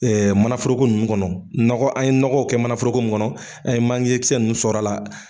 Ɛɛ mananforoko nunnu kɔnɔ , nɔgɔ an ye nɔgɔ kɛ mananforokow kɔnɔ an ye manje kisɛ nunnu sɔri a la